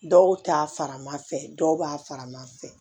Dɔw ta farimafɛ dɔw b'a fara ma fɛ